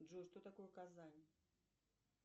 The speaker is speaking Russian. джой что такое казань